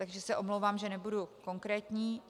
Takže se omlouvám, že nebudu konkrétnější.